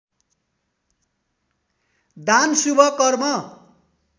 दान शुभ कर्म